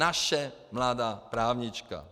Naše mladá právnička!